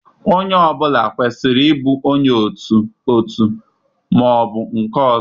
Onye ọ bụla kwesịrị ịbụ onye otu otu ma ọ bụ nke ọzọ.